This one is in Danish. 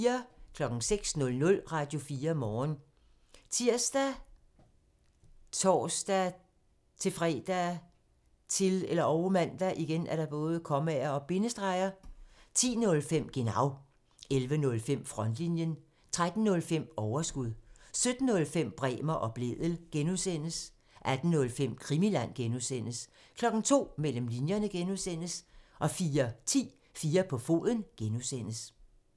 06:00: Radio4 Morgen ( tir, tor-fre, -man) 10:05: Genau (tir) 11:05: Frontlinjen (tir) 13:05: Overskud (tir) 17:05: Bremer og Blædel (G) (tir) 18:05: Krimiland (G) (tir) 02:00: Mellem linjerne (G) (tir) 04:10: 4 på foden (G) (tir)